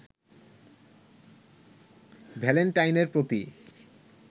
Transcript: ভ্যালেন্টাইনের প্রতি